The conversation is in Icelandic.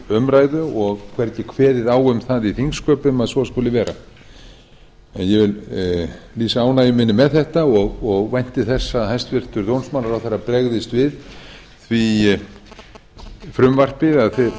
umræðu og hvergi kveðið á um það í þingsköpum að svo skuli vera en ég vil lýsa ánægju minni með þetta og vænti þess að hæstvirtur dómsmálaráðherra bregðist við því frumvarpi eða þeirri